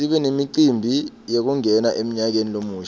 sibe nemicimbi yekungena emnyakeni lomusha